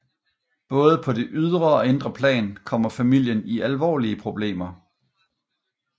Både på det ydre og indre plan kommer familien i alvorlige problemer